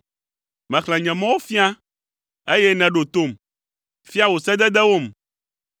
Mexlẽ nye mɔwo fia, eye nèɖo tom. Fia wò sededewom.